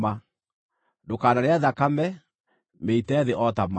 Ndũkanarĩe thakame; mĩite thĩ o ta maaĩ.